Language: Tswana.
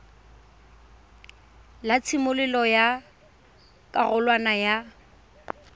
la tshimololo ya karolwana ya